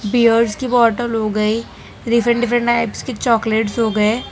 Piers की bottle हो गई डिफरेंट डिफरेंट टाइप्स की चॉकलेट्स हो गए।